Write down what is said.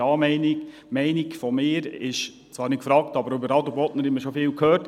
Meine persönliche Meinung ist zwar nicht gefragt, aber über Adelbodner Wasser haben wir schon vieles gehört.